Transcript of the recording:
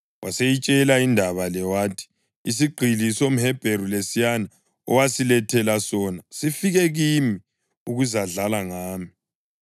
Waseyitshela indaba le wathi: “Isigqili somHebheru lesiyana owasilethela sona sifikile kimi ukuzadlala ngami.